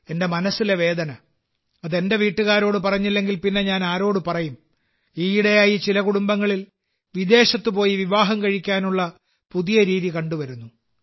എന്റെ മനസ്സിലെ വേദന അത് എന്റെ വീട്ടുകാരോട് പറഞ്ഞില്ലെങ്കിൽ പിന്നെ ഞാൻ ആരോട് പറയും ഈയിടെയായി ചില കുടുംബങ്ങളിൽ വിദേശത്ത് പോയി വിവാഹം കഴിക്കാനുള്ള പുതിയ രീതി കണ്ടുവരുന്നു